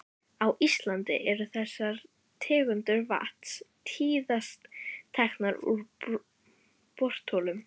Á Íslandi eru þessar tegundir vatns tíðast teknar úr borholum.